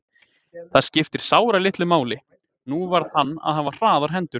Það skipti sáralitlu máli, nú varð hann að hafa hraðar hendur.